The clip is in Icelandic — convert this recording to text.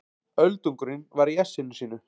Öldungurinn var í essinu sínu.